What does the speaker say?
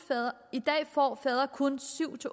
i dag får fædre kun syv